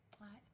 Nej